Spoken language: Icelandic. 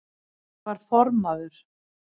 Ég var formaður